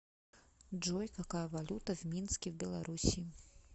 джой какая валюта в минске в белоруссии